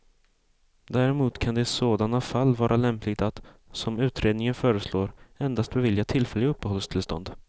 Däremot kan det i sådana fall vara lämpligt att, som utredningen föreslår, endast bevilja tillfälliga uppehållstillstånd.